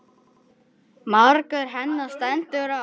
Margur henni stendur á.